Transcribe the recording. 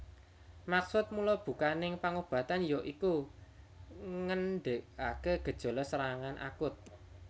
Maksud mulabukaning pangobatan ya iku ngendhegake gejala serangan akut